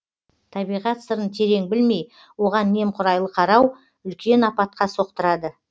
табиғат сырын терең білмей оған немқұрайлы қарау үлкен апатқа соқтырады